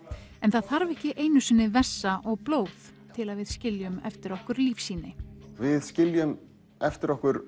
en það þarf ekki einu sinni vessa og blóð til að við skiljum eftir okkur lífsýni við skiljum eftir okkur